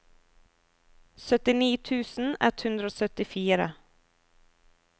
syttini tusen ett hundre og syttifire